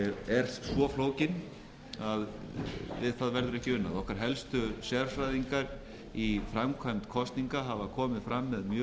er svo flókið að við það verður ekki unað okkar helstu sérfræðingar í framkvæmd kosninga hafa komið fram með